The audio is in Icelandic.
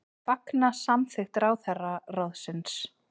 Fagna samþykkt ráðherraráðsins